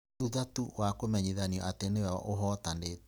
thutha tu wa kũmenyithanio atĩ nĩwe ũhootanĩte.